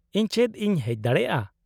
-ᱤᱧ ᱪᱮᱫ ᱤᱧ ᱦᱮᱡ ᱫᱟᱲᱮᱭᱟᱜᱼᱟ ?